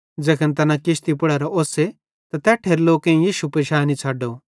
ज़ैखन तैना किश्ती पुड़ेरां ओस्से त तैट्ठेरे लोकेईं यीशु पिशैनी छ़ड्डो